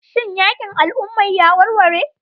Shin yakin al'umma ya warware?